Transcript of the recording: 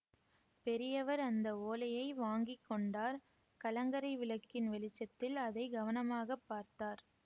பெரியவர் அந்த ஓலையை வாங்கி கொண்டார் கலங்கரை விளக்கின் வெளிச்சத்தில் அதை கவனமாக பார்த்தார்